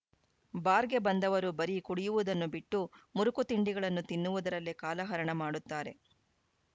ಬಾರ್‌ಗೆ ಬಂದವರು ಬರಿ ಕುಡಿಯುವುದನ್ನು ಬಿಟ್ಟು ಮುರುಕು ತಿಂಡಿಗಳನ್ನು ತಿನ್ನುವುದರಲ್ಲೇ ಕಾಲ ಹರಣ ಮಾಡುತ್ತಾರೆ